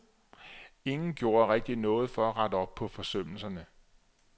Ingen gjorde rigtigt noget for at rette op på forsømmelserne.